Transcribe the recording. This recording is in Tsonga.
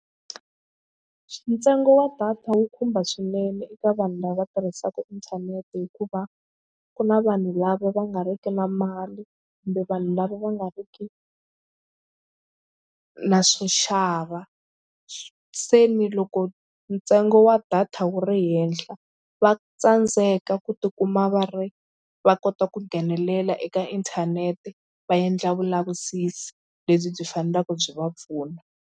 Ntsengo wa data wu khumba swinene eka vanhu lava tirhisaka inthanete hikuva ku na vanhu lava va nga riki na mali kumbe vanhu lava va nga ri ki na swo xava se ni loko ntsengo wa data wu ri henhla va tsandzeka ku tikuma va ri va kota ku nghenelela eka inthanete va endla vulavisisi lebyi byi faneleke byi va pfuna.